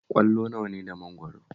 Ƙwallo nawa ne da mangwaro?